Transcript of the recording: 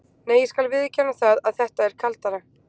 Nei, ég skal viðurkenna það að þetta er kaldara.